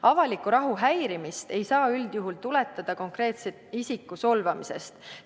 Avaliku rahu häirimist ei saa üldjuhul tuletada konkreetse isiku solvamisest.